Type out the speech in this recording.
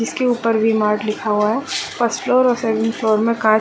इसके ऊपर V mart लिखा हुआ है फर्स्ट फ्लोर और सेकंड फ्लोर में का --